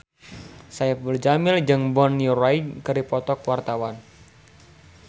Saipul Jamil jeung Bonnie Wright keur dipoto ku wartawan